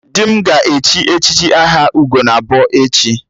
Di m ga-echi echichi aha 'Ugonabọ' echi